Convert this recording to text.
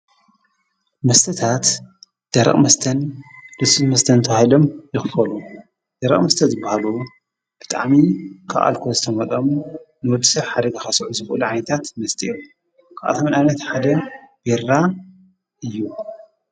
መስተታት ደርቕ መስተን ልሱት መስተንተውሂሎም ይኽፈሉ ።ደረቕ መስተት ይበሃሉ። ብትዓሚ ኽኣልኮ ዝተመጠሙ ንወድስሕ ሓደ ግኻሶዑ ዝቡኡል ዓይይታት መስጢዑ ኽኣተምንኣነት ሓደ ቤራ እዩ።